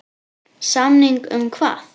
Samning um hvað?